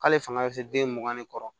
K'ale fanga bɛ se den mugan ni kɔ